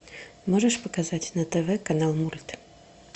можешь показать на тв канал мульт